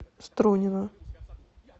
струнино